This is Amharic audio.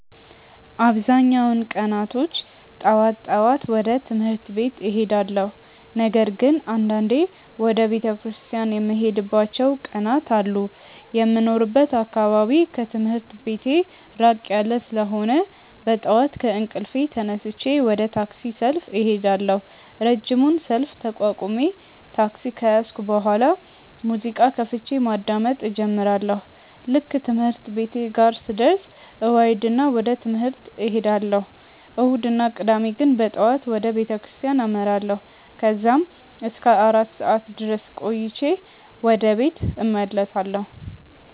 አብዛኛውን ቀናቶች ጠዋት ጠዋት ወደ ትምህርት ቤት እሄዳለሁ። ነገር ግን አንዳንዴ ወደ ቤተክርስቲያን የምሄድባቸው ቀናት አሉ። የሚኖርበት አካባቢ ከትምህርት ቤቴ ራቅ ያለ ስለሆነ በጠዋት ከእንቅልፌ ተነስቼ ወደ ታክሲ ሰልፍ እሄዳለሁ። ረጅሙን ሰልፍ ተቋቁሜ ታክሲ ከያዝኩ በኋላ ሙዚቃ ከፍቼ ማዳመጥ እጀምራለሁ። ልክ ትምህርት ቤቴ ጋር ስደርስ እወርድና ወደ ትምህርት እሄዳለሁ። እሁድ እና ቅዳሜ ግን በጠዋት ወደ ቤተክርስቲያን አመራለሁ። ከዛም እስከ አራት ሰዓት ድረስ ቆይቼ ወደ ቤት እመለሳለሁ።